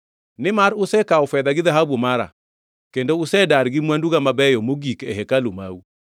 Nimar usekawo fedha gi dhahabu mara, kendo usedar gi mwanduga mabeyo mogik e hekalu mau.